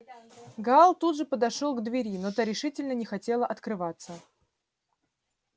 гаал тут же подошёл к двери но та решительно не хотела открываться